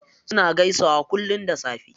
Suna gaisawa kullum da safe.